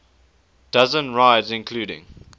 dozen rides including